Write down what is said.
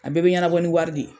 A bɛɛ bɛ ɲɛnabɔ ni wari de ye.